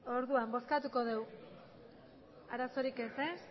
orduan bozkatuko dugu arazorik ez ez